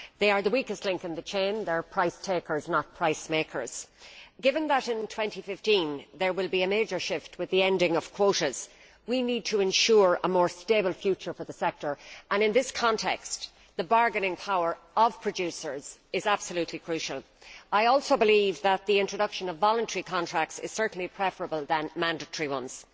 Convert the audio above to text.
They are the weakest link in the chain they are price takers, not price makers. Given that in 2015 there will be a major shift with the ending of quotas, we need to ensure a more stable future for the sector and, in this context, the bargaining power of producers is absolutely crucial. I also believe that the introduction of voluntary contracts is certainly preferable to introducing mandatory ones.